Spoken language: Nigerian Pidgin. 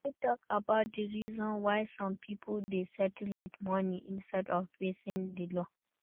You fit talk about di reasons why some people dey settle with money instead of facing di law.